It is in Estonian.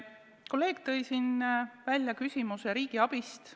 Kolleeg tõi siin välja küsimuse riigiabist.